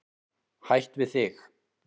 Hætt við þig.